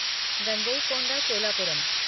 Gangaikonda Cholapuram